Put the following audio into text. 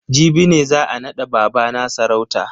Jibi ne za a nada babana sarauta.